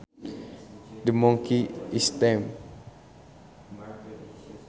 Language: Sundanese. The monkey is tame